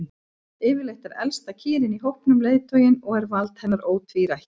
Yfirleitt er elsta kýrin í hópnum leiðtoginn og er vald hennar ótvírætt.